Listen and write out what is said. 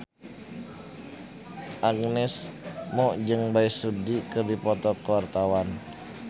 Agnes Mo jeung Bae Su Ji keur dipoto ku wartawan